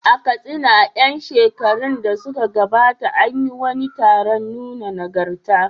A Katsina, a ƴan shekarun da suka gabata, an yi wani taron nuna nagarta.